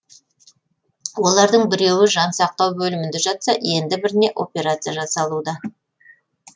олардың біреуі жан сақтау бөлімінде жатса енді біріне операция жасалуда